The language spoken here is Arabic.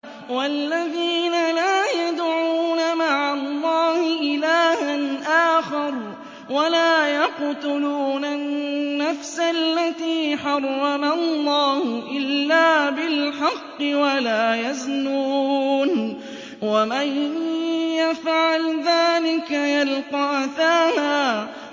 وَالَّذِينَ لَا يَدْعُونَ مَعَ اللَّهِ إِلَٰهًا آخَرَ وَلَا يَقْتُلُونَ النَّفْسَ الَّتِي حَرَّمَ اللَّهُ إِلَّا بِالْحَقِّ وَلَا يَزْنُونَ ۚ وَمَن يَفْعَلْ ذَٰلِكَ يَلْقَ أَثَامًا